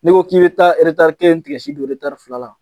N'i ko k'i bɛ taa eretar kelen don eretar fila la